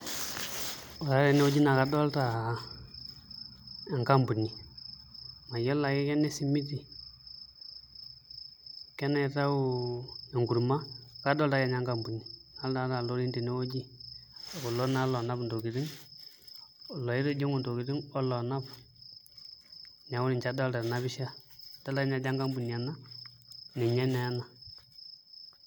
Ore ake teneweuji naa kadolita enkampuni mayiolo ake kene simiti kenaitayu enkurma kadolta ake ninye enkampuni nadolita ilorin tenewueji kulo naa loonap intokitin iloitijing'u intokitin oloonap, neeku ninche adolita tena pisha adolita ake ninye ajo enkampuni ena ninye naa ena.